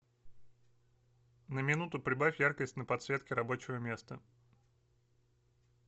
на минуту прибавь яркость на подсветке рабочего места